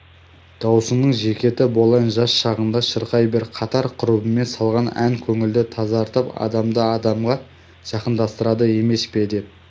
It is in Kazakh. даусыңның зекеті болайын жас шағыңда шырқай бер қатар-құрбымен салған ән көңілді тазартып адамды адамға жақындастырады емес пе деп